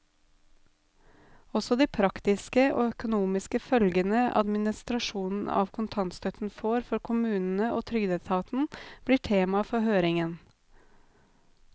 Også de praktiske og økonomiske følgene administrasjonen av kontantstøtten får for kommunene og trygdeetaten, blir tema for høringen.